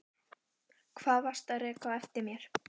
Hvað varstu að reka á eftir mér?